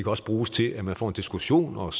også bruges til at man får en diskussion og